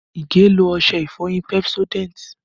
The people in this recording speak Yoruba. Ige lo ọṣẹ ìfọyín Pepsodent